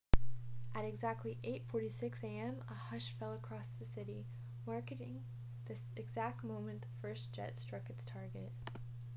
at exactly 8:46 a.m. a hush fell across the city marking the exact moment the first jet struck its target